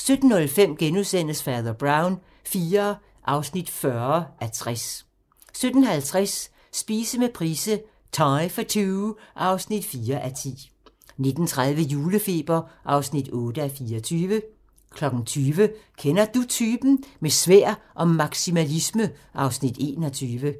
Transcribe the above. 17:05: Fader Brown IV (40:60)* 17:50: Spise med Price - thai for two (4:10) 19:30: Julefeber (8:24) 20:00: Kender Du Typen? – Med sværd og maksimalisme (Afs. 21)